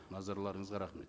назарларыңызға рахмет